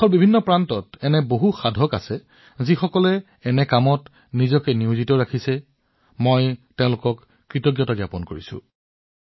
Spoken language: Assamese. দেশৰ বিভিন্ন প্ৰান্তত এনে বহুতো সাধক থাকিব যিয়ে এই ধৰণৰ কামত ব্ৰতী হৈ আছে আৰু মই তেওঁলোক সকলোকে অভিনন্দন জনাইছো